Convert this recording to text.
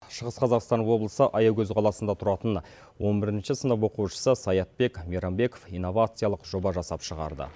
шығыс қазақстан облысы аягөз қаласында тұратын он бірінші сынып оқушысы саятбек мейрамбеков инновациялық жоба жасап шығарды